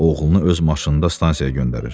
Oğlunu öz maşınında stansiyaya göndərir.